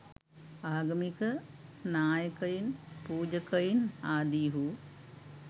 ආගමික නායකයින් පූජකයින් ආදීහු